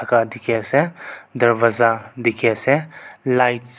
ka dikhiase darvaza dikhiase lights .